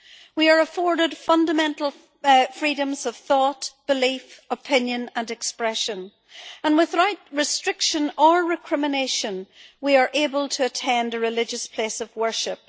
We are afforded fundamental freedoms of thought, belief, opinion and expression and, without restriction or recrimination, we are able to attend a religious place of worship.